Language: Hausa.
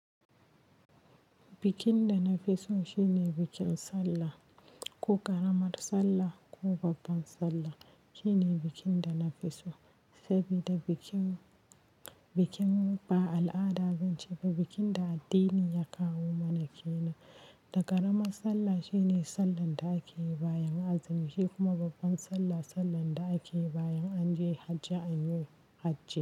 Bikin da na fi so shine bikin Sallah. Ko ƙaramar Sallah ko babbar Sallah shine bikin da na fi so, sabida bikin, bikin ba al'ada ba ce. Bikin da addini ya kawo mana ke nan. Da ƙaramar Sallah shine Sallar da ake yi bayan azumi, shi kuma babbar Sallah Sallar da ake yi bayan an je Hajji anyi Hajji.